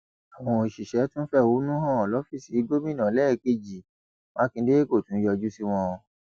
àwọn òṣìṣẹ tún fẹhónú hàn lọfíìsì gómìnà lẹẹkejì mákindè kó tún yọjú sí wọn